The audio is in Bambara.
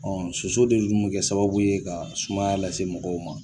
Ɔ soso de dun be bɛ sababu ye ka sumaya lase mɔgɔw ma